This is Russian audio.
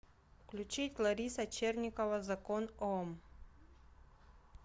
включить лариса черникова закон ом